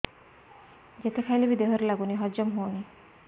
ଯେତେ ଖାଇଲେ ବି ଦେହରେ ଲାଗୁନି ହଜମ ହଉନି